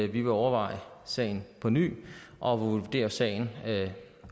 vi vil overveje sagen på ny og vurdere sagen